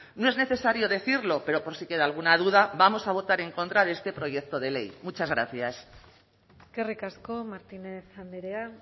no es necesario decirlo pero por si queda alguna duda vamos a votar en contra de este proyecto de ley muchas gracias eskerrik asko martínez andrea